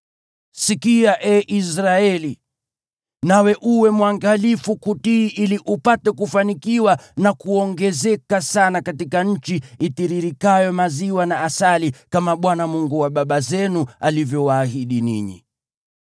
Sikia, ee Israeli, nawe uwe mwangalifu kutii ili upate kufanikiwa na kuongezeka sana katika nchi itiririkayo maziwa na asali, kama Bwana , Mungu wa baba zenu, alivyowaahidi ninyi.